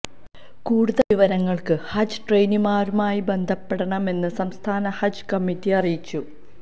കൂടുതല് വിവരങ്ങള്ക്ക് ഹജ്ജ് ട്രെയിനര്മാരുമായി ബന്ധപ്പെടണമെന്ന് സംസ്ഥാന ഹജ്ജ് കമ്മിറ്റി അറിയിച്ചു